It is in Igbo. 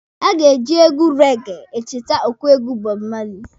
Aga eji egwu rege echete ọkụegwu Bob Marley.